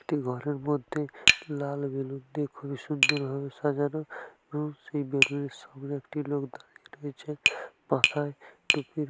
একটি ঘরের মধ্যে লাল বেলুন দিয়ে খুবই সুন্দর ভাবে সাজানো | সেই বেলুনের সামনে একটি লোক দাঁড়িয়ে রয়েছে মাথায় টুপি ।